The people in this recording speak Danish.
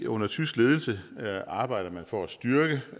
under tysk ledelse arbejder man for at styrke